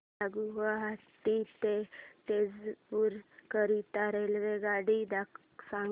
मला गुवाहाटी ते तेजपुर करीता रेल्वेगाडी सांगा